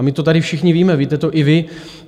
A my to tady všichni víme, víte to i vy.